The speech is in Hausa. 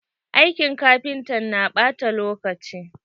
Aikin kafinta na ɓata lokaci.